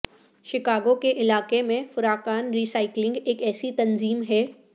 Chicago کے علاقے میں فراقان ری سائیکلنگ ایک ایسی تنظیم ہے